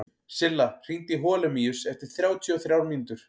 Silla, hringdu í Holemíus eftir þrjátíu og þrjár mínútur.